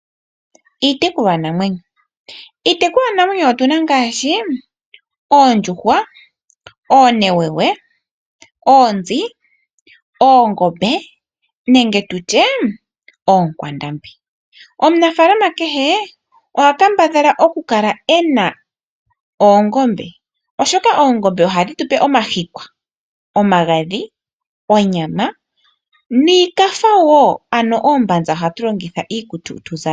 Iitekulwanamwenyo Iitekulwanamwenyo otu na ngaashi oondjuhwa, oonewewe, oonzi, oongombe nenge oonkwandambi. Omunafaalama kehe oha kambadhala okukala e na oongombe, oshoka oongombe ohadhi tu pe omahikwa, omagadhi, onyama noombanza ndhoka hatu longitha iikutu tu zale.